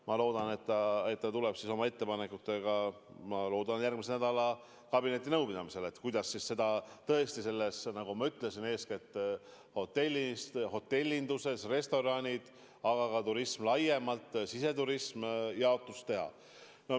Ma loodan, et ta tuleb umbes siis järgmise nädala kabinetinõupidamisele ettepanekutega, kuidas eeskätt hotellinduses, pluss restoranid, aga ka turism laiemalt, sh siseturism, see jaotus teha.